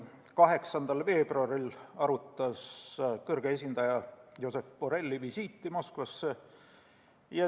8. veebruaril arutas väliskomisjon kõrge esindaja Josep Borrelli visiiti Moskvasse.